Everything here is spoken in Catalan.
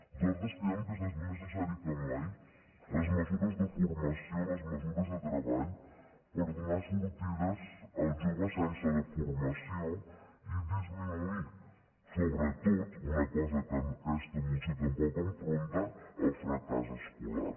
nosaltres creiem que és més necessari que mai les mesures de formació les mesures de treball per donar sortides als joves sense la formació i disminuir sobretot una cosa que aquesta moció tampoc enfronta el fracàs escolar